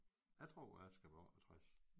Jeg tror jeg skal være 68